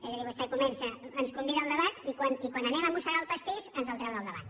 és a dir vostè ens convida al debat i quan anem a mossegar el pastís ens el treu del davant